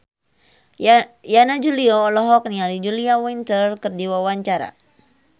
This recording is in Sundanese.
Yana Julio olohok ningali Julia Winter keur diwawancara